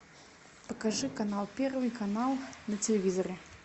покажи канал первый канал на телевизоре